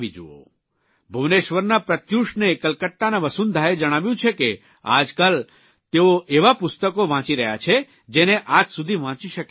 ભુવનેશ્વરના પ્રત્યુષને કલકતાના વસુંધાએ જણાવ્યું છે કે આજકાલ તેઓ એવા પુસ્તકો વાંચી રહ્યા છે જેને આજ સુધી વાંચી શક્યા ન હતા